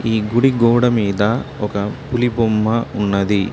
ఈ గుడి గోడ మీద ఒక పులి బొమ్మ ఉన్నది.